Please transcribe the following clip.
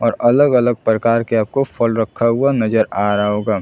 और अलग-अलग प्रकार के आपको फल रखा हुआ नज़र आ रहा होगा।